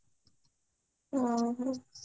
ଓହୋ